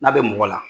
N'a bɛ mɔgɔ la